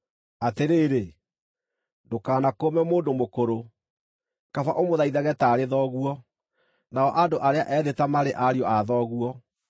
Atĩrĩrĩ, ndũkanakũũme mũndũ mũkũrũ, kaba ũmũthaithage taarĩ thoguo, nao andũ arĩa ethĩ ta marĩ ariũ a thoguo,